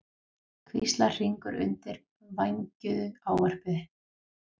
hvíslar Hringur undir vængjuðu ávarpi.